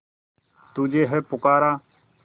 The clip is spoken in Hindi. तुझे है पुकारा